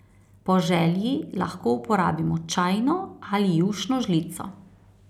Po želji lahko uporabimo čajno ali jušno žlico.